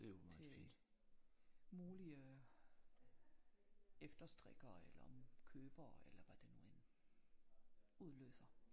Til mulige efter strikkere eller købere eller hvad det nu end udløser